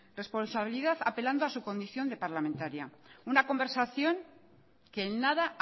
responsabilidad apelando a su condición de parlamentaria una conversación que en nada